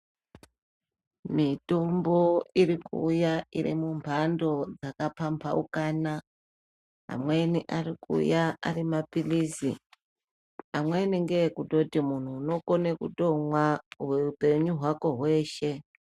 Mitombo irikuuya iri mumhando dzakapambaukana amweni arikuuya ari mapilizi, amweni ngeekutoti munhu unokone kutomwa upenyu hwako hweshe.